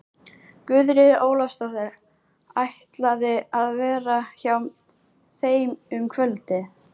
Guðríður Ólafsdóttir ætlaði að vera hjá þeim um kvöldið.